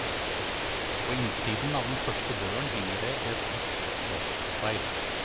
På innsiden av den første døren henger det et hvitt plastspeil.